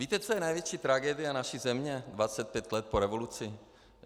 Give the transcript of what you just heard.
Víte, co je největší tragédie naší země 25 let po revoluci?